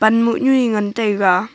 mohnyu e ngan taiga.